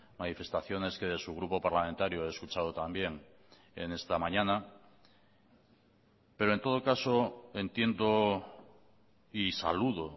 manifestaciones que de su grupo parlamentario he escuchado también en esta mañana pero en todo caso entiendo y saludo